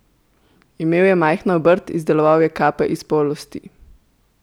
Imel je majhno obrt, izdeloval je kape iz polsti.